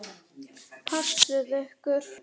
Passið ykkur.